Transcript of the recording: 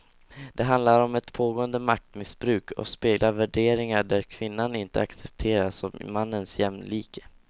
Det handlar om ett pågående maktmissbruk och speglar värderingar där kvinnan inte accepteras som mannens jämlike.